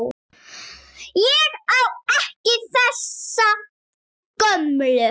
Ég á ekki þessa gömlu.